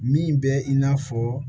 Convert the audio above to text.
Min bɛ i n'a fɔ